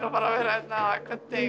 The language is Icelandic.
að vera hérna eða